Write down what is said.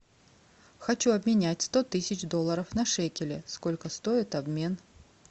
хочу обменять сто тысяч долларов на шекели сколько стоит обмен